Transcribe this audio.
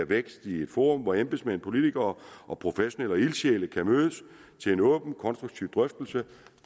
vækst i et forum hvor embedsmænd politikere professionelle og ildsjæle kan mødes til en åben og konstruktiv drøftelse